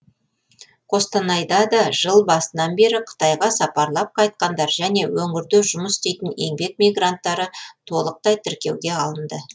қостанайда да жыл басынан бері қытайға сапарлап қайтқандар және өңірде жұмыс істейтін еңбек мигранттары толықтай тіркеуге алынды